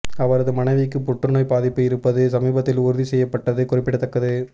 அவரது மனைவிக்கு புற்றுநோய் பாதிப்பு இருப்பது சமீபத்தில் உறுதிசெய்யப்பட்டது குறிப்பிடத்தக்கது